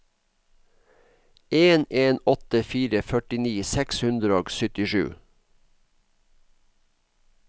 en en åtte fire førtini seks hundre og syttisju